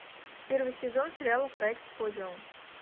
первый сезон сериала проект подиум